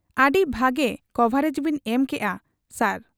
ᱟᱹᱰᱤ ᱵᱷᱟᱜᱤ ᱠᱚᱵᱷᱟᱨᱮᱡᱽ ᱵᱤᱱ ᱮᱢ ᱠᱮᱜ ᱟ ᱥᱟᱨ ᱾'